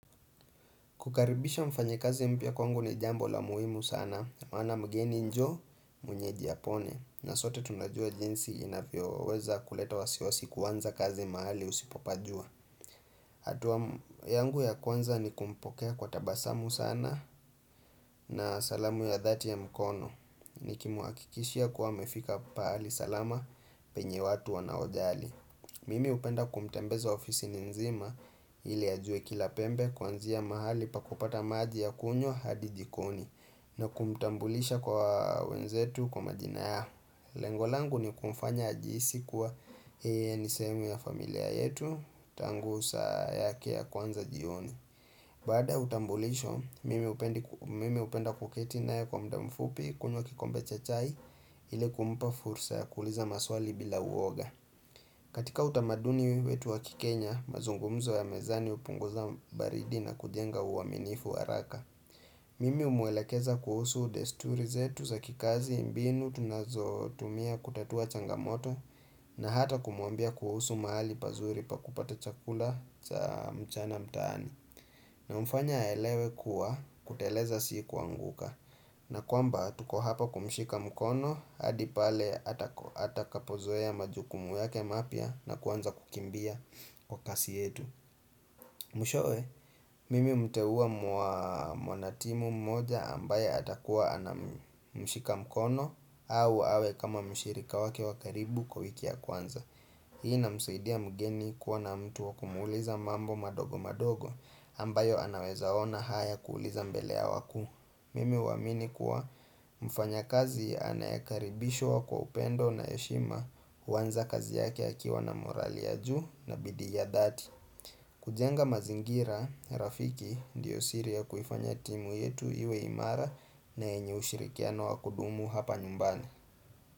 Kukaribisha mfanyakazi mpya kwangu ni jambo la muhimu sana, maana mgeni njoo mwenyeji apone. Na sote tunajua jinsi inavyo weza kuleta wasiwasi kuanza kazi mahali usipopajua. Atua yangu ya kwanza ni kumpokea kwa tabasamu sana na salamu ya dhati ya mkono. Ni kimuakikishia kuwa amefika paali salama penye watu wa na ojali. Mimi upenda kumtembeza ofisi ninzima ili ajue kila pembe kuanzia mahali pa kupata maji ya kunywa hadijikoni na kumtambulisha kwa wenzetu kwa majina ya. Lengolangu ni kumfanya ajihisi kwa nisehemu ya familia yetu tangu saa yake ya kwanza jioni. Baada ya utambulisho, mimi upenda kuketinae kwa mdamfupi kunywa kikombe chachai ili kumpa fursa ya kuuliza maswali bila uoga. Katika utamaduni wetu wakikenya, mazungumzo ya mezani upunguza baridi na kujenga uaminifu waraka. Mimi umwelekeza kuhusu desturizetu za kikazi mbinu tunazotumia kutatua changamoto na hata kumuambia kuhusu mahali pazuri pa kupata chakula cha mchana mtaani. Na mfanya aelewe kuwa kuteleza sikuanguka na kwamba tuko hapa kumshika mkono hadipale hata kapozoea ya majukumu yake mapya na kuanza kukimbia kwa kasi yetu Mwishowe, mimi umteua mwanatimu mmoja ambaye hata kuwa anamushika mkono au awe kama mshirika wake wakaribu kwa wiki ya kwanza Hii na msaidia mgeni kuwa na mtu wa kumuuliza mambo madogo madogo ambayo anaweza ona haya kuuliza mbele ya wakuu Mimi uamini kuwa mfanya kazi anaekaribishwa wa kwa upendo na yeshima uwanza kazi yake akiwa na morali ya juu na bidii ya dhati kujenga mazingira, Rafiki ndiyo siri ya kuifanya timu yetu iwe imara na yenye ushirikiano wa kudumu hapa nyumbani.